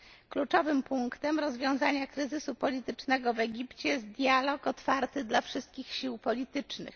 Kluczowym punktem rozwiązania kryzysu politycznego w Egipcie jest dialog otwarty dla wszystkich sił politycznych.